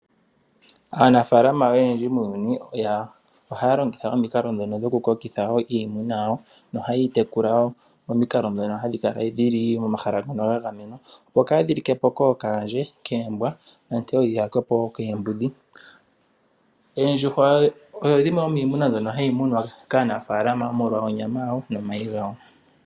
Aanafaalama oyendji muuyuni ohaya longitha omikalo dhokukokitha iimuna yawo nohaye yi tekula nomikalo ngaashi oku yi tula mehala lyagamenwa opo kaayi like po kookaandje , koombwa, nenge yi yakwe po koombudhi. Oondjuhwa odho dhimwe dhoominamwenyo mbyoka hayi munwa kaanafaalama molwa onyama yawo nomayi gawo.